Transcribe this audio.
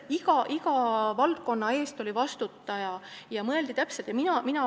Iga valdkonna eest oli vastutaja ja mõeldi täpselt, mida on vaja teha.